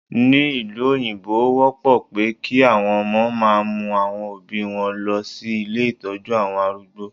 Ní ìlú òyìnbó, ó wọ́pọ̀ pé kí àwọn ọmọ máa mú àwọn Òbí wọn lọ sí ilé Ìtọ́jú àwọn arúgbó.